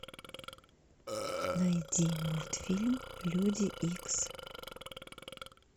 найди мультфильм люди икс